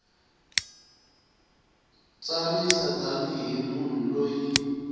tsarisa tani hi munhu loyi